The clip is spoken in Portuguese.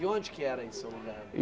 E onde que era esse lugar?